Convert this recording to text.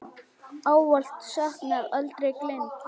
Ávallt saknað, aldrei gleymd.